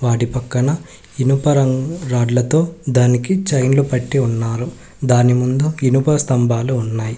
వాటి పక్కన ఇనుప రంగ్ రాడ్లతో దానికి చైన్లు పట్టి ఉన్నారు దాని ముందు ఇనుప స్తంభాలు ఉన్నాయి.